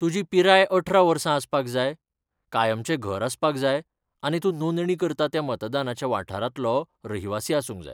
तुजी पिराय अठरा वर्सां आसपाक जाय, कायमचें घर आसपाक जाय आनी तूं नोंदणी करता त्या मतदानाच्या वाठारांतलो रहिवासी आसूंक जाय.